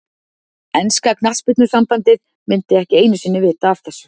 Enska knattspyrnusambandið myndi ekki einu sinni vita af þessu.